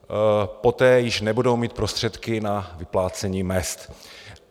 Poté již nebudou mít prostředky na vyplácení mezd.